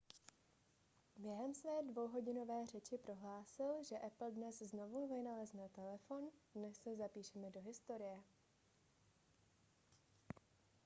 během své dvouhodinové řeči prohlásil že apple dnes znovu vynalezne telefon dnes se zapíšeme do historie